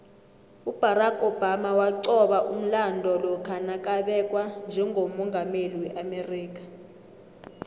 ubarack obama waqoba umlando lokha nakabekwa njegommungameli weamerika